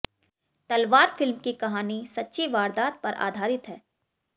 तलवार फ़िल्म की कहानी सच्ची वारदात पर आधारित है